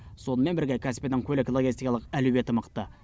сонымен бірге каспийдің көлік логистикалық әлеуеті мықты